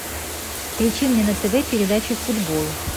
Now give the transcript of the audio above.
включи мне на тв передачу футбол